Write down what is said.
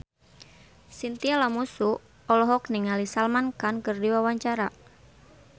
Chintya Lamusu olohok ningali Salman Khan keur diwawancara